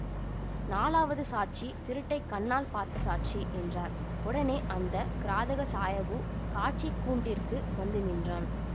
நாலாவது சாட்சி திருட்டைக் கண்ணால் பார்த்த சாட்சி என்றார் உடனே அந்த கிராதக சாயபு சாட்சிக் கூண்டிற்கு வந்து நின்றான்